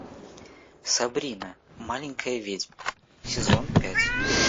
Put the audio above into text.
сабрина маленькая ведьма сезон пять